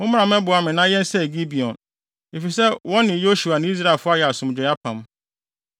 “Mommra mmɛboa me na yɛnsɛe Gibeon, efisɛ wɔne Yosua ne Israelfo ayɛ asomdwoe apam.”